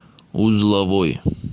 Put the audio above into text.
узловой